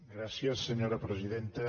gràcies senyora presidenta